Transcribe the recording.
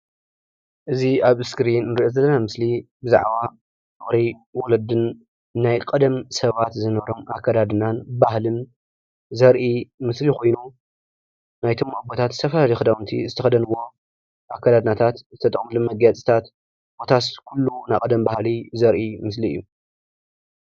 እዚ ኣብ ስክሪን ንሪኦ ዘለና ምስሊ ብዛዕባ ፍቅሪ ወለድን ናይ ቀደም ሰባት ዝነበሮም ኣከዳድናን ባህልን ዘርኢ ምስሊ ኮይኑ ናይቶም ኣቦታት ዝተፈላለዩ ክዳውንቲ ዝተኸደንዎ ኣከዳድናታት ዝተጠቀምሎም መጋየጽታት ኮታስ ኩሉ ናይ ቀደም ባህሊ ዘርኢ ምስሊ እዩ።